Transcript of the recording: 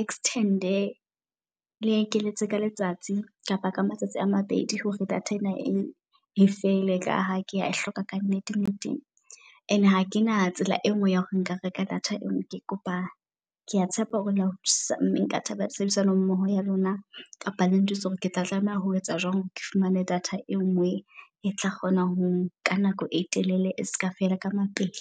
extend-e. Le ekeletse ka letsatsi kapa ka matsatsi a mabedi hore data ena e e fele, ka ha kea e hloka ka nnete nnete. And-e hakena tsela e nngwe ya hore nka reka data e nngwe. Ke kopa kea tshepa hore nka thabela tshebedisano mmoho ya lona kapa le njwetse, hore ke tla tlameha ho etsa jwang hore ke fumane data e nngwe e tla kgona ho nka nako e telele e ska fela ka mapele.